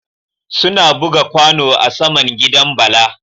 Suna buga kwano a saman gidan bala